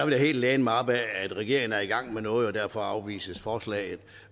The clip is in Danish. helt læne mig op ad at regeringen er i gang med noget og derfor afvises forslaget